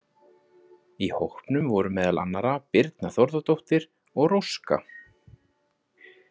Í hópnum voru meðal annarra Birna Þórðardóttir og Róska.